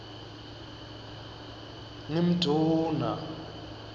ngimdvuna